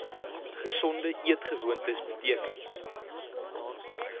gesonde eetgewoontes beteken